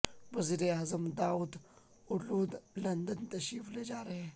وزیر اعظم Davutoglu London تشریف لے جا رہے ہیں